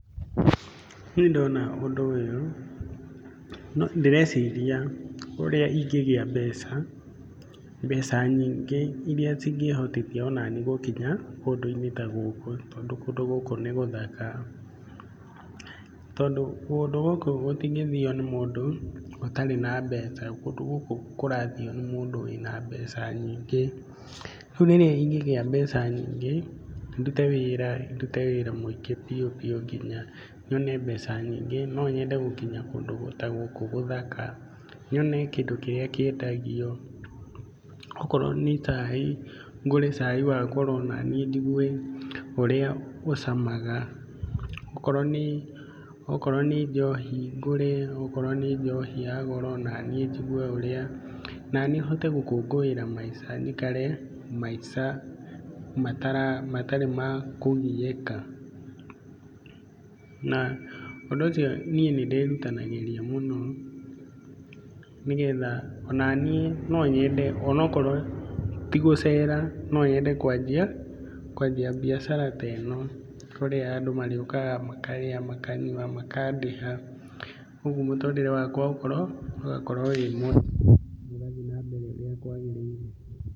Niĩ ndona ũndũ ũyũ ndĩreciria ũrĩa ingĩgĩa mbeca, mbeca nyingĩ iria ingĩhotithia onani gũkinya kũndũ-inĩ ta gũkũ tondũ kũndũ gũkũ nĩ gũthaka tondũ kũndũ gũkũ gũtingĩthio nĩ mũndũ ũtarĩ na mbeca. Kũndũ gũkũ kũrathio nĩ mũndũ wĩna mbeca nyingĩ. Rĩu rĩrĩa ingĩgia mbeca nyingĩ, ndute wĩra ndute wĩra muingĩ biũ biũ nginya nyone mbeca nyingĩ, no nyende gũkinya kũndũ ta gũkũ gũthaka, nyone kĩndũ kĩrĩa kĩendagio, okorwo nĩ cai ngure cai wa goro na niĩ njigue ũrĩa ũcamaga, okorwo nĩ njohi ngũre, okorwo nĩ njohi ya goro o naniĩ njigue ũrĩa, na niĩ hote gũkũĩra maica njikare maica matarĩ makũgiĩka na ũndũ ũcio niĩ nĩ ndĩrutanagĩria mũno nĩ getha o naniĩ no nyende o nokorwo ti gũcera no nyende kwanjia mbiacara teno kũrĩa andũ marĩũkaga makarĩa, makanyua, makandĩha, uguo mũtũrĩre wakwa ũgakorwo wĩ mwega na ũgathiĩ na mbere urĩa kwagĩrĩire.